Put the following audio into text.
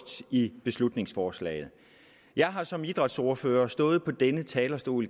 i beslutningsforslaget jeg har som idrætsordfører stået på denne talerstol